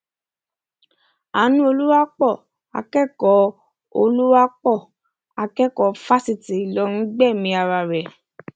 anú olùwapo akẹkọọ olùwapo akẹkọọ fáṣítì ìlọrin gbẹmí ara rẹ